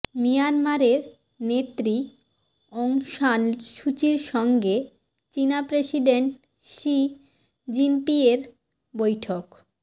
মিয়ানমারের নেত্রী Aung San সুচির সঙ্গে চীনা প্রেসিডেন্ট শি জিনপিংয়ের বৈঠক